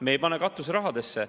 Me ei pane katuserahadesse.